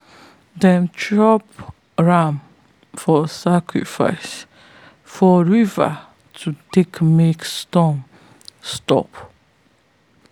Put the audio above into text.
them drop ram for sacrifice for river to take make storm stop.